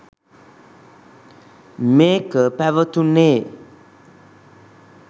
මේක පැවතුණේ